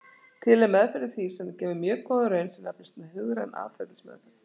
Til er meðferð við því sem gefur mjög góða raun sem nefnist hugræn atferlismeðferð.